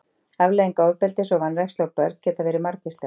afleiðingar ofbeldis og vanrækslu á börn geta verið margvíslegar